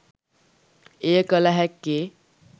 එය කළ හැක්කේ